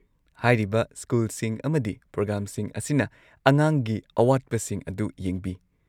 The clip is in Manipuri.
ꯍꯥꯏꯔꯤꯕ ꯁ꯭ꯀꯨꯜꯁꯤꯡ ꯑꯃꯗꯤ ꯄ꯭ꯔꯣꯒ꯭ꯔꯥꯝꯁꯤꯡ ꯑꯁꯤꯅ ꯑꯉꯥꯡꯒꯤ ꯑꯋꯥꯠꯄꯁꯤꯡ ꯑꯗꯨ ꯌꯦꯡꯕꯤ꯫